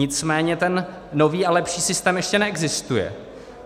Nicméně ten nový a lepší systém ještě neexistuje.